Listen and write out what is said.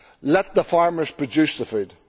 Let the farmers produce the food.